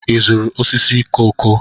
Ị zụrụ osisi koko?